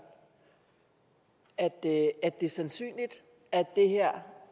at det er sandsynligt at